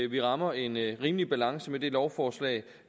vi rammer en rimelig balance med det lovforslag